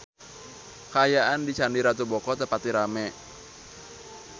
Kaayaan di Candi Ratu Boko teu pati rame